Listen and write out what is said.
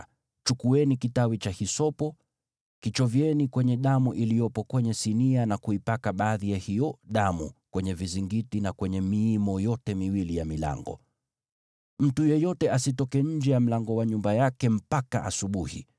Chukueni kitawi cha hisopo, kichovyeni kwenye damu iliyopo kwenye sinia na kuipaka baadhi ya hiyo damu kwenye vizingiti na kwenye miimo yote miwili ya milango. Mtu yeyote asitoke nje ya mlango wa nyumba yake mpaka asubuhi.